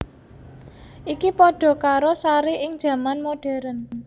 Iki padha karo Sari ing jaman modern